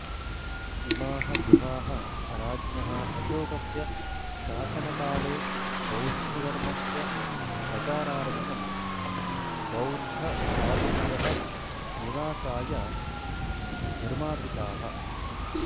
इमाः गुहाः राज्ञः अशोकस्य शासनकाले बौद्धधर्मस्य प्रचारार्थं बौद्धसाधुभ्यः निवासाय निर्मापिताः